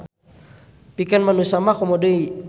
Pikeun manusa mah komo deui.